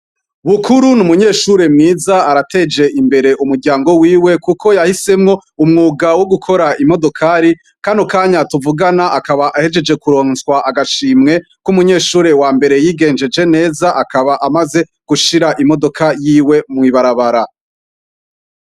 BUKURU n'umunyeshure mwiza arateje imbere umuryango wiwe kuko yahisemwo umwuga wo gukora imodokari. Kano kanya tuvugana akaba ahejeje kuronswa agashimwe k'umunyeshure wambere yigenjeje neza. Akaba amaze gushira imodoka yiwe mw'ibarabara.